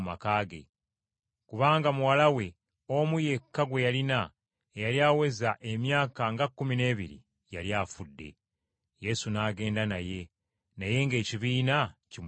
kubanga muwala we omu yekka gwe yalina, eyali aweza emyaka nga kkumi n’ebiri yali afa. Yesu n’agenda naye, naye ng’ekibiina kimunyigiriza.